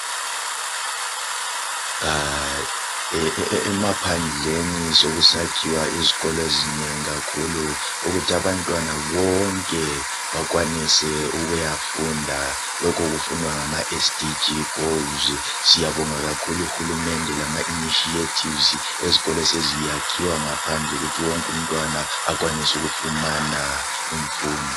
emaphandleni sokusakhiwa izikolo ezinengi kakhulu ukuthi abantwana bonke bakwanise ukuyafunda lokhu kufunwa ngama SDG goals siyabonga kakhulu u hulumende lama initiatives ezikolo eseziyakhiwa ngaphandle ukuthi wonke umntwana akwanise ukufumana imfundo